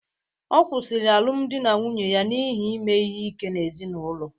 Ọ kwụsịrị alụmdi na nwunye ya n'ihi ime ihe ike n'ezinụlọ